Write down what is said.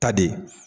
Ta de